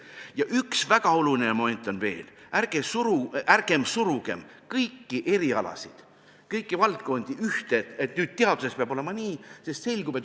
Ja üks väga oluline moment on veel: ärgem surugem kõiki erialasid, kõiki valdkondi ühte, öeldes, et teaduses peab olema nii!